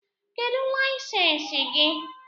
Kedu layisensi gị?